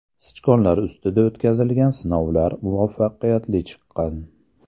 Sichqonlar ustida o‘tkazilgan sinovlar muvaffaqiyatli chiqqan.